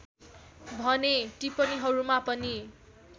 भने टिप्पणीहरूमा पनि